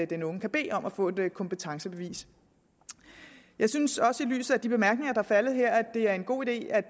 den unge kan bede om at få et kompetencebevis jeg synes også i lyset af de bemærkninger er faldet her at det er en god idé at